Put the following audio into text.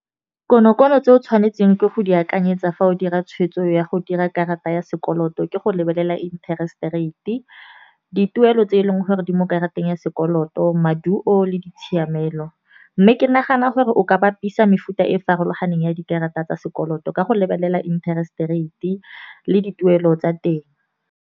Kono-kono tse o tshwanetseng ke go di akanyetsa fa o dira tshwetso ya go dira karata ya sekoloto ke go lebelela interest rate. Dituelo tse e leng gore di mo karateng ya sekoloto maduo le ditshiamelo, mme ke nagana gore o ka bapisa mefuta e farologaneng ya dikarata tsa sekoloto, ka go lebelela interest rate e le dituelo tsa teng.